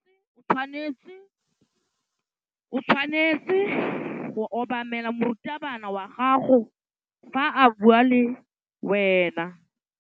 O tshwanetse go obamela morutabana wa gago fa a bua le wena.